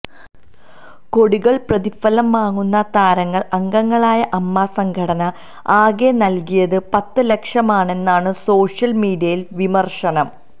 കോടികള് പ്രതിഫലം വാങ്ങുന്ന താരങ്ങള് അംഗങ്ങളായ അമ്മ സംഘടന ആകെ നല്കിയത് പത്ത് ലക്ഷമാണെന്നാണ് സോഷ്യല് മീഡിയയിലെ വിമര്ശനം